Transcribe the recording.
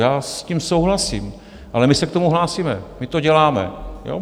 Já s tím souhlasím, ale my se k tomu hlásíme, my to děláme.